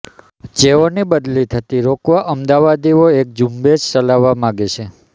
જેઅોની બદલી થતી રોકવા અમદાવાદીઅો અેક ઝૂંબેશ ચલાવવા માગે છે